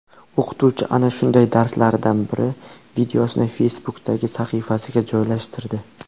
O‘qituvchi ana shunday darslaridan biri videosini Facebook’dagi sahifasiga joylashtirdi.